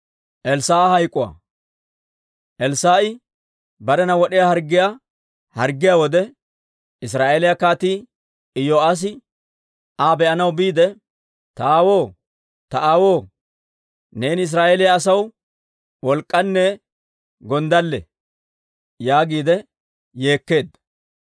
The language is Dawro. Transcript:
Elssaa'i barena wod'iyaa harggiyaa harggiyaa wode, Israa'eeliyaa Kaatii Iyo'aassi Aa be'anaw biide, «Ta aawoo; ta aawoo! Neeni Israa'eeliyaa asaw wolk'k'anne gonddalle!» yaagiide yeekkeedda.